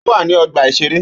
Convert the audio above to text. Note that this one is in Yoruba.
Ó wà ní ọgbà-ìṣeré